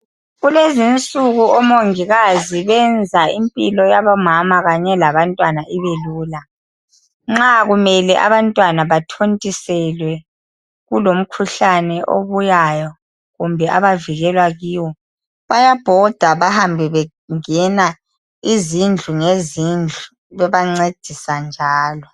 kulezinsuku omongikazi benza impilo yabo mama kanye labantwana ibelula nxa kumele abantwana bethontiselwe kulomkhuhlane obuyayo kumbe abavikelwa kiwo bayabhoda behambe bengena izindlu ngezindlu bebancedisa njalo